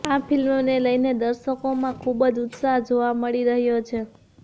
આ ફિલ્મને લઈને દર્શકોમાં ખુબજ ઉત્શાહ જોવા મળી રહ્યો છે